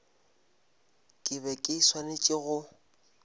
ke be ke swanetše go